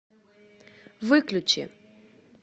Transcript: выключи